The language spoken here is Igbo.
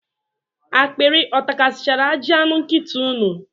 Akpịrị ọ takasịchara ajị ahụ nkịta unu?